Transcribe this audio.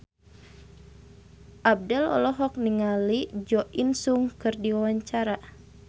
Abdel olohok ningali Jo In Sung keur diwawancara